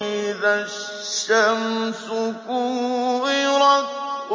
إِذَا الشَّمْسُ كُوِّرَتْ